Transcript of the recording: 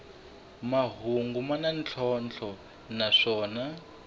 mahungu ya na ntlhontlho naswona